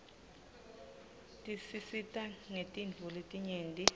tisisita ngetintfo letinyeti